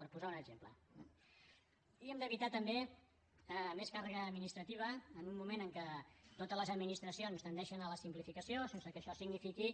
per posar un exemple eh i hem d’evitar també més càrrega administrativa en un moment en què totes les administracions tendeixen a la simplificació sense que això signifiqui